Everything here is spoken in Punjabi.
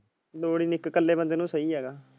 ਲੋੜ ਹੀ ਨਹੀਂ ਇਕ ਕਲੇ ਬੰਦੇ ਨੂੰ ਸੋ ਹੀ ਹੇਗਾ।